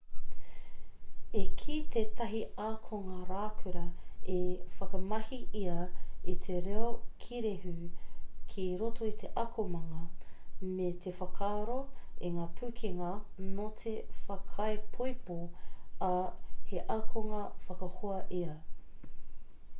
i kī tētahi akonga raukura i whakamahi ia i te reo kīrehu ki roto i te akomanga me te whaaako i ngā pūkenga note whakaipoipo ā he akonga whakahoa ia.'